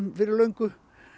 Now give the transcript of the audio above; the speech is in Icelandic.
fyrir löngu